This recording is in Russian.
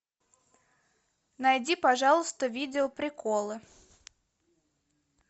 найди пожалуйста видео приколы